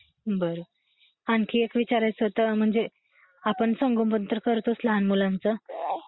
बरं , आणखी एक विचारायच होत ते, म्हणजे आपण संगोपन तर करतोच लहान मुलांच